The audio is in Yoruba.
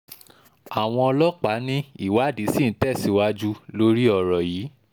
àwọn ọlọ́pàá ní ìwádìí ṣì ń tẹ̀síwájú lórí ọ̀rọ̀ yìí